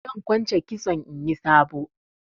Zan kwance kitson inyi sabo.